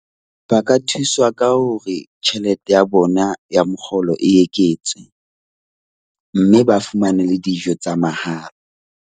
Ba ka thuswa ka hore tjhelete ya bona ya mokgolo e eketswe mme ba fumane le dijo tsa mahala.